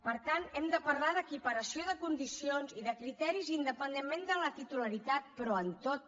per tant hem de parlar d’equiparació de condicions i de criteris independentment de la titularitat però en tot